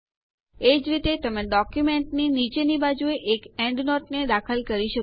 એજ રીતે તમે ડોક્યુંમેન્ટની નીચેની બાજુએ એક એન્ડનોટને દાખલ કરી શકો છો